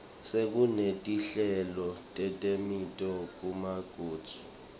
sekunetinhlelo teteminotfo kumaboakudze